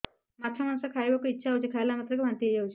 ମାଛ ମାଂସ ଖାଇ ବାକୁ ଇଚ୍ଛା ହଉଛି ଖାଇଲା ମାତ୍ରକେ ବାନ୍ତି ହେଇଯାଉଛି